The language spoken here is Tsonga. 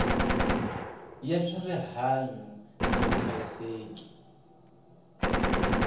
ya swa rihanyu ni vuhlayiseki